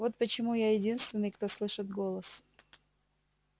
вот почему я единственный кто слышит голос